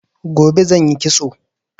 Gobe zan yi kitso